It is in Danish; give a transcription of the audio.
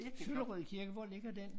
Søllerød Kirke hvor ligger den?